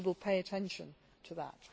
We will pay attention to that.